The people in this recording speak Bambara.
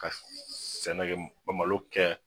Ka sɛnɛ kɛ malo kɛ